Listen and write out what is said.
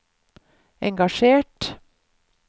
engasjert